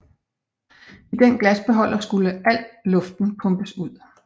I den glasbeholder skulle alt luften pumpes ud